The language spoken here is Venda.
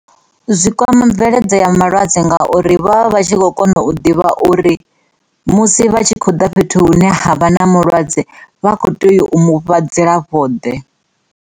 Zwikwama mveledzo ya malwadze ngauri vha vha tshi kho kona u ḓivha uri musi vha tshi khou ḓa fhethu hune ha vha na mulwadze vha kho tea u mufha dzilafho ḓe.